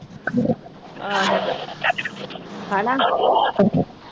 ਆਹੋ ਹੈਨਾ।